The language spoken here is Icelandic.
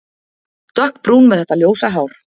Dökkbrún með þetta ljósa hár.